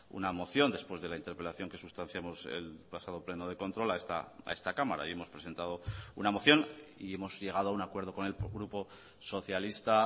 una moción después de la interpelación que sustanciamos el pasado pleno de control a esta cámara y hemos presentado una moción y hemos llegado a un acuerdo con el grupo socialista